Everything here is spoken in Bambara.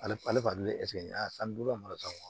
Ale ale kɔni ye san duuru ka marataw ye